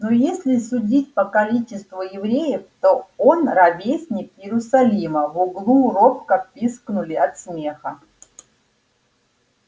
ну если судить по количеству евреев то он ровесник иерусалима в углу робко пискнули от смеха